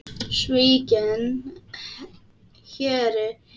Svikinn héri í nýjum búningi